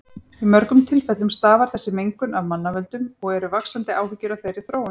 Í mörgum tilfellum stafar þessi mengun af mannavöldum og eru vaxandi áhyggjur af þeirri þróun.